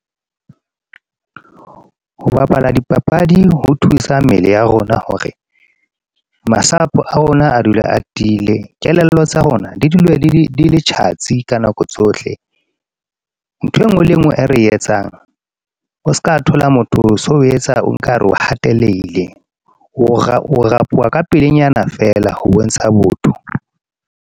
Ho bapala dipapadi ho thusa mmele ya rona hore, masapo a rona a dule a tiile kelello tsa rona di dule di le di le tjhatsi ka nako tsohle. Ntho e nngwe le e nngwe e re etsang o ska thola motho, so o etsa o nkare o hateleile, o ra powa ka pelenyana feela ho bontsha botho.